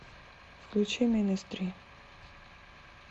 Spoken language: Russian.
включи министри